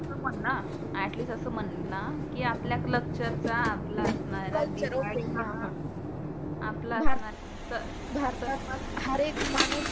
म्हण ना अ‍ॅटलीस्ट असं म्हण ना की आपल्या कल्चरचा आपला असणार काही म्हणु शकतो. आपला असणार भारतात हर एक माणुस